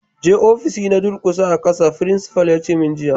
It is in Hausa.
Je ofishi na ka durƙusa a'kasa! Frincipa'n ya ce mun jiya.